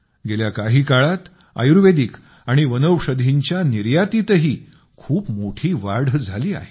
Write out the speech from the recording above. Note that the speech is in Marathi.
गेल्या काही काळात आयुर्वेदिक आणि वनौषधींच्या निर्यातीतही खूप मोठी वाढ झाली आहे